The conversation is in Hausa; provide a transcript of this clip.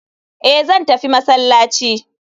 Eh zan tafi masallaci.